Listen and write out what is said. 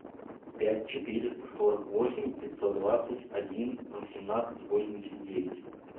пять четыреста сорок восемь пятьсот двадцать один восемнадцать восемьдесят девять